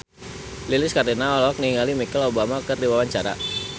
Lilis Karlina olohok ningali Michelle Obama keur diwawancara